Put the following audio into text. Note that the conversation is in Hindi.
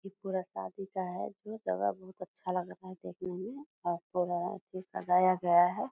ई पूरा शादी का है जो दवा बहुत अच्छा लग रहा है देखने में और पूरा सजाया गया है।